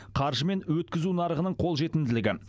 қаржы мен өткізу нарығының қолжетімділігі